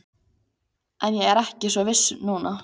En ég er ekki svo viss núna